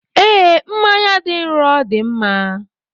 Ee, mmanya dị nro dị mma.